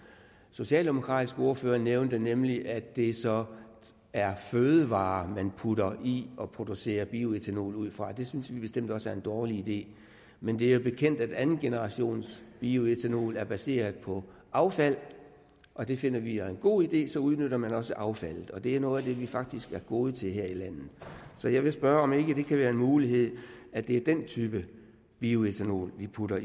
socialdemokratiske ordfører nævnte nemlig at det så er fødevarer man putter i og producerer bioætanol ud fra det synes vi bestemt også er en dårlig idé men det er jo bekendt at andengenerationsbioætanol er baseret på affald og det finder vi er en god idé så udnytter man også affaldet og det er noget af det som vi faktisk er gode til her i landet så jeg vil spørge om ikke det kan være en mulighed at det er den type bioætanol vi putter